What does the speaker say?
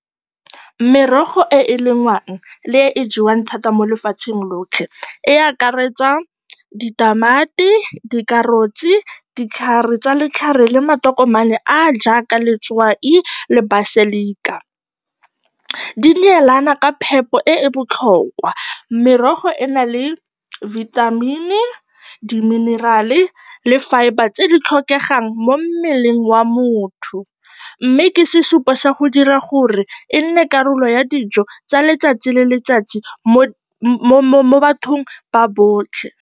Merogo e e lengwang le e e jewang thata mo lefatsheng lotlhe, e akaretsa ditamati, dikarotsi, ditlhare tsa letlhare le matokomane a a jaaka letswai le baselika. Di neelana ka phepo e e botlhokwa. Merogo ena le vitamin-i, di-mineral-e le fibre tse di tlhokegang mo mmeleng wa motho mme ke sesupo sa go dira gore e nne karolo ya dijo tsa letsatsi le letsatsi mo bathong ba botlhe.